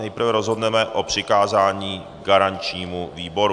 Nejprve rozhodneme o přikázání garančnímu výboru.